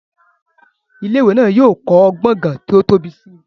Ilé ìwé náà yóò kọ́ gbọ̀ngán tí ó tóbi si